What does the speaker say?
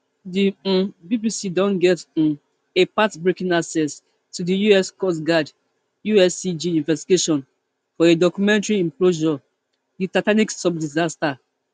di um bbc don get um a path breaking access to di us coast guard uscg investigation for a documentary implosion the titanic sub disaster